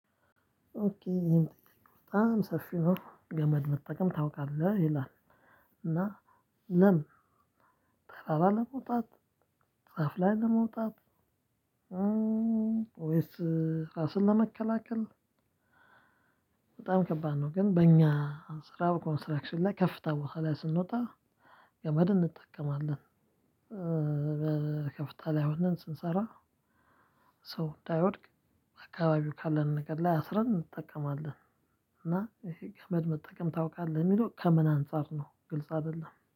ኦኬ ይሄመ ጥያቄ በጣም ሰፊ ነው ገመድ መጠቀም ታውቃለህ ይላል። እና ለምን? ተራራ ለመውጣት ዛፍ ላይ ለመውጣት ወይስ ራስን ለመከላከል? በጣም ከባድ ነው። ግን በእኛ ስራው ኮንስትራክሽን ላይ ከፍታ በኋላ ስንወጣ ገመድ እንጠቀማለን። ከፍታ ላይ ሆነን ስንሰራ ሰው እንዳይወድቅ አካባቢው ካለን ነገር ላይ አስረን እንጠቀማለን። እና ይሄ ገመድ መጠቀም ታውቃለህ የሚለው ከምን አንፃር ነው? ግልጽ አይደለም